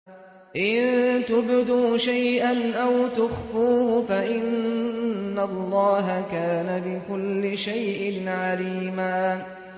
إِن تُبْدُوا شَيْئًا أَوْ تُخْفُوهُ فَإِنَّ اللَّهَ كَانَ بِكُلِّ شَيْءٍ عَلِيمًا